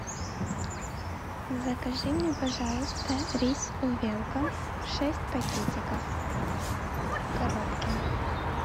закажи мне пожалуйста рис увелка шесть пакетиков в коробке